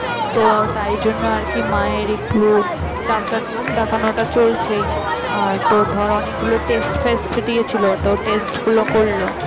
তো তাই জন্য আর কি মায়ের একটু ডাক্তার দেখানোটা চলছেই আর তোর তোর অনেকগুলো test ফেস্ট দিয়েছিল তো test গুলো করলাম